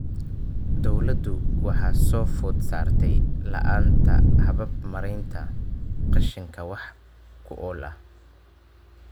Dawladdu waxaa soo food saartay la'aanta habab maaraynta qashinka wax ku ool ah.